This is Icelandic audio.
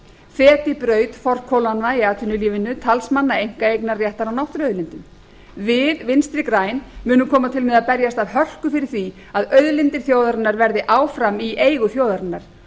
feti braut forkólfanna í atvinnulífinu talsmanna einkaeignarréttar á náttúruauðlindum við vinstri græn munum koma til með að berjast af hörku fyrir því að auðlindir þjóðarinnar verði áfram í eigu þjóðarinnar